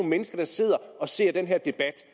mennesker der sidder og ser den her debat